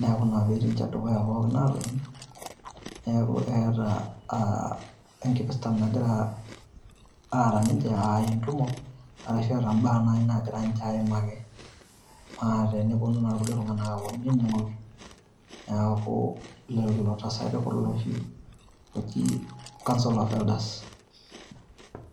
Niaku ina pee etii ninche dukuya pookin aatoni, niaku eeta enkipirta nagira aata ninche aa entumo. Arashu eeta baa naaji naagira ninche aimaki. Naa teneponu naaji ilkulie tung`anak aaponu ainining`oki neaku lelo tasati kulo ooji council of elders.